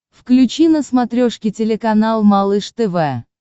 включи на смотрешке телеканал малыш тв